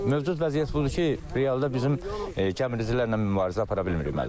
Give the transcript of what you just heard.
Mövcud vəziyyət budur ki, realda bizim gəmiricilərlə mübarizə apara bilmirik, müəllim.